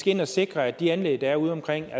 ind og sikre at de anlæg der er udeomkring er